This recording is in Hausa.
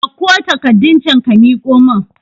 Ɗauko takarɗun can ka miƙo mun